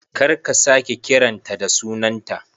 Kar ka sake kiran ta da sunanta